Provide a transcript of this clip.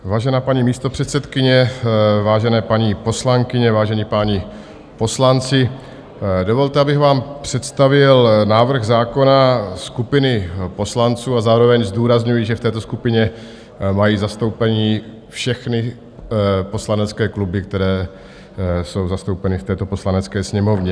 Vážená paní místopředsedkyně, vážené paní poslankyně, vážení páni poslanci, dovolte, abych vám představil návrh zákona skupiny poslanců a zároveň zdůrazňuji, že v této skupině mají zastoupení všechny poslanecké kluby, které jsou zastoupeny v této Poslanecké sněmovně.